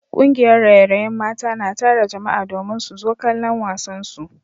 Kungiyar raye-rayen mata na tara jama’a domin su zo kallon wasansu